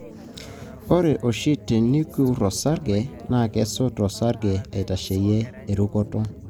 ore oshi, teniruk osarge, na kesoto osarge aitasheyie erukoto.